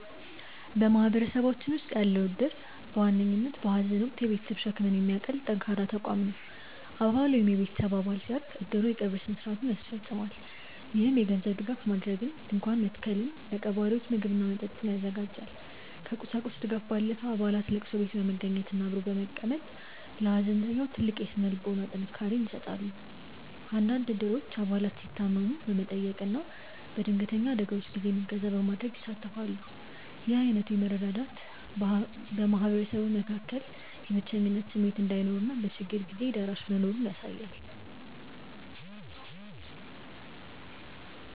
በማህበረሰባችን ውስጥ ያለው እድር በዋነኝነት በሐዘን ወቅት የቤተሰብን ሸክም የሚያቀል ጠንካራ ተቋም ነው። አባል ወይም የቤተሰብ አባል ሲያርፍ፣ እድሩ የቀብር ሥነ ሥርዓቱን ያስፈፅማል። ይህም የገንዘብ ድጋፍ ማድረግን፣ ድንኳን መትከልን፣ ለቀባሪዎች ምግብና መጠጥ ያዘጋጃል። ከቁሳቁስ ድጋፍ ባለፈ፣ አባላት ለቅሶ ቤት በመገኘትና አብሮ በመቀመጥ ለሐዘንተኛው ትልቅ የሥነ ልቦና ጥንካሬ ይሰጣሉ። አንዳንድ እድሮች አባላት ሲታመሙ በመጠየቅና በድንገተኛ አደጋዎች ጊዜም እገዛ በማድረግ ይሳተፋሉ። ይህ ዓይነቱ መረዳዳት በማህበረሰቡ መካከል የብቸኝነት ስሜት እንዳይኖርና በችግር ጊዜ ደራሽ ወገን መኖሩን ያሳያል።